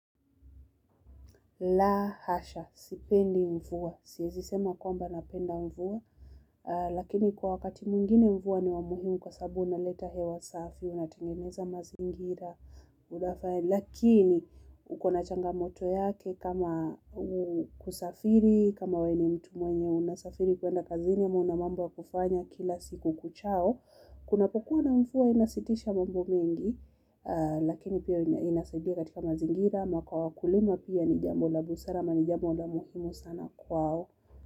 La hasha, sipendi mvua, siezisema kwamba napenda mvua, lakini kwa wakati mwingine mvua ni wa muhimu kwa sababu unaleta hewa safi, unatengeneza mazingira, lakini ukona changamoto yake kama kusafiri, kama we ni mtu mwenye unasafiri kuenda kazini ama una mambo ya kufanya kila siku kuchao. Kunapokuwa na mvua inasitisha mambo mengi lakini pia inasaidia katika mazingira ama kwa wakulima pia ni jambo la busara ama ni jambo la muhimu sana kwao.